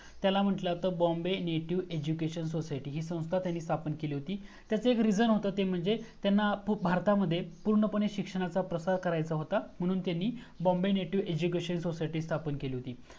त्याला म्हटलं तर Bombay native education society. ही संस्था त्यांनी स्थापन केली होती, त्याचं एक reason होतं, ते म्हणजे त्यांना भारतामध्ये पुर्णपणे शिक्षणाचा प्रसार करायचा होता. म्हणून त्यांनी Bombay native education society स्थापन केली होती.